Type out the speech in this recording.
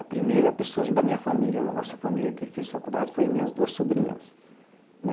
A primeira pessoa da minha família, da nossa família, que fez faculdade foi minhas duas sobrinhas.